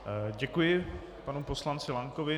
Děkuji panu poslanci Lankovi.